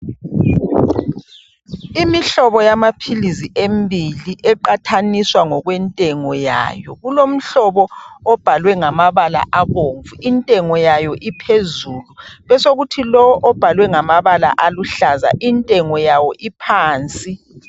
Imihlobo yamaphilisi embili eqathaniswa ngokwentengo yayo. Kulomhlobo obhalwe ngamabala abomvu, intengo yayo iphezulu besokuthi lo obhalwe ngamabala aluhlaza intengo yawo uphansi.